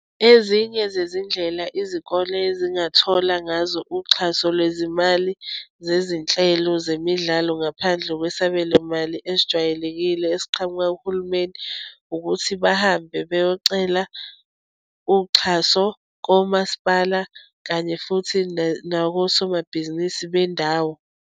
Ezinye zezindlela izikole ezingathola ngazo uxhaso lwezimali zezinhlelo zemidlalo ngaphandle kwesabelomali ezijwayelekile esiqhamuka kuhulumeni ukuthi bahambe beyocela uxhaso komasipala kanye futhi nakosomabhizinisi bendawo.